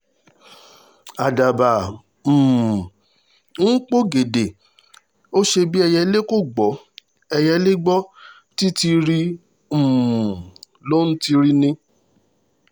àdàbà um ń pọgẹdẹ ó ṣe bí ẹyẹlé kò gbọ́ ẹyẹlé gbọ́ títíírí um ló ń tiiri ni